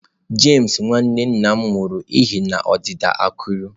James nwanne nna m nwụrụ n'ihi ọdịda akụrụ.